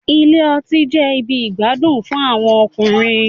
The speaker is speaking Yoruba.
Ilé ọtí jẹ ibì igbadun fún àwọn ọkùnrin